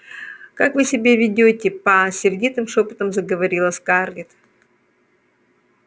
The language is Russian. как вы себя ведёте па сердитым шёпотом заговорила скарлетт